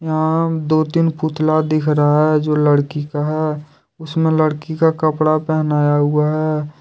यहां दो तीन पुतला दिख रहा हैं जो लड़की का है उसमें लड़की का कपड़ा पहनाया हुआ हैं।